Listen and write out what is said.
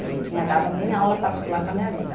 Não tinha dado nem aula particular na minha vida.